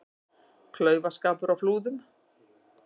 Klaufaskapur á Flúðum